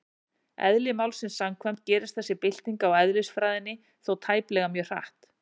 Eðli málsins samkvæmt gerist þessi bylting á eðlisfræðinni þó tæplega mjög hratt.